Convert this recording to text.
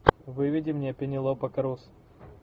выведи мне пенелопа круз